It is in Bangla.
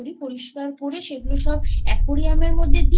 পরিষ্কার করে সেগুলোকেও সব Aquarium এর মধ্যে দি